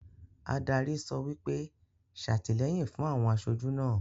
Adarí sọ wípé,'satilẹ́yìn fún àwọn asojú náà'